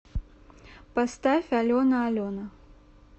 поставь алена алена